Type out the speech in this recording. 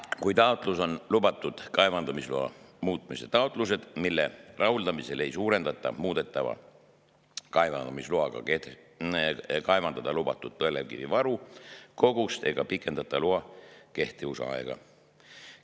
Lisaks on erandiga] lubatud kaevandamisloa muutmise taotlused, mille rahuldamisel ei suurendata muudetava kaevandamisloaga kaevandada lubatud põlevkivivaru kogust ega pikendata loa kehtivusaega.